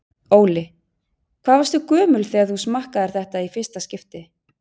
Óli: Hvað varstu gömul þegar þú smakkaðir þetta í fyrsta skipti?